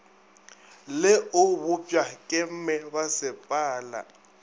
le o bopšwa ke mebasepala